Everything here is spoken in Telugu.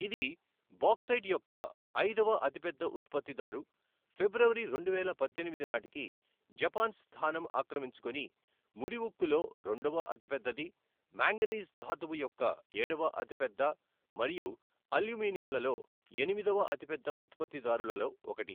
ఇది బాక్సైట్ యొక్క ఐదవ అతిపెద్ద ఉత్పత్తిదారు, ఫిబ్రవరి రెండువేల పద్దెనిమిది నాటికి జపాన్ స్థానం ఆక్రమించుకుని ముడి ఉక్కులో రెండవ అతిపెద్దది, మాంగనీస్ ధాతువు యొక్క ఏడవ అతిపెద్ద మరియు అల్యూమినియంలలో ఎనిమిదవ అతిపెద్ద ఉత్పత్తిదారులలో ఒకటి.